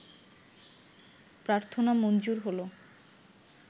প্রার্থনা মঞ্জুর হলো